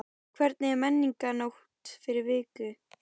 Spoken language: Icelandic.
Hvernig er Menningarnótt fyrir ykkur?